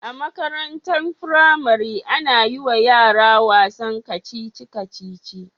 A Makarantan firari ana yiwa yara wasan kacici kacici